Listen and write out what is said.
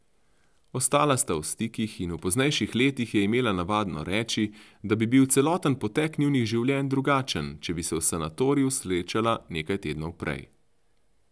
Ostala sta v stikih in v poznejših letih je imela navado reči, da bi bil celoten potek njunih življenj drugačen, če bi se v sanatoriju srečala nekaj tednov prej.